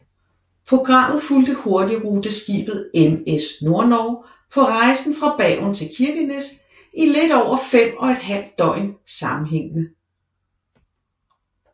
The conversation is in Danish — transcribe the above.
Programmet fulgte hurtigruteskibet MS Nordnorge på rejsen fra Bergen til Kirkenes i lidt over fem og et halvt døgn sammenhængende